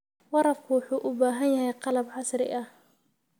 Waraabka wuxuu u baahan yahay qalab casri ah.